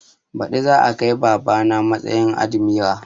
Baɗi za a kai baba na matsayin admira